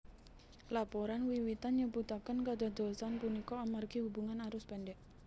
Laporan wiwitan nyebutaken kadadosan punika amargi hubungan arus pendek